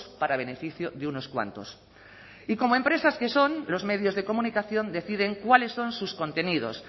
para beneficio de unos cuantos y como empresas que son los medios de comunicación deciden cuáles son sus contenidos